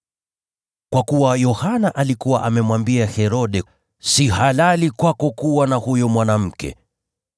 kwa kuwa Yohana alikuwa amemwambia Herode: “Si halali kwako kuwa na huyo mwanamke.”